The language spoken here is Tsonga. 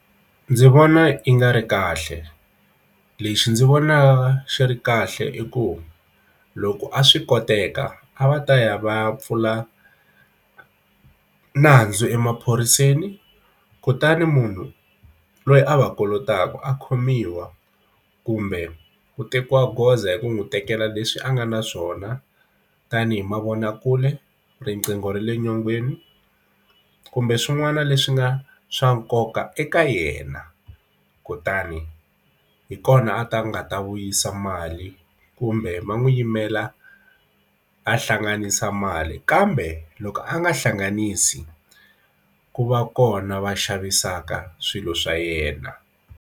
Ndzi vona yi nga ri kahle lexi ndzi vona swi ri kahle i ku loko a swi koteka a va ta ya va pfula nandzu emaphoriseni kutani munhu loyi a va kolotaka a khomiwa kumbe ku tekiwa goza hi ku n'wi tekela leswi a nga na swona tanihi mavonakule riqingho ra le nyongeni kumbe swin'wana leswi nga swa nkoka eka yena kutani hi kona a ti nga ta vuyisa mali kumbe va n'wi yimela a hlanganisa mali kambe loko a nga hlanganisi ku va kona va xavisaka swilo swa yena.